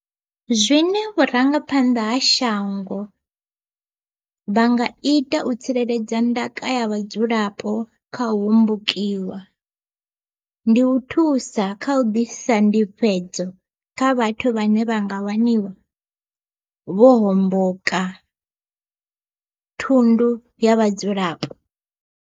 Zwine vhurangaphanḓa ha shango vha nga ita u tsireledza ndaka ya vhadzulapo khau hombokiwa, ndi u thusa kha u ḓisa ndifhedzo kha vhathu vhane vha nga waniwa vho homboka thundu ya vhadzulapo.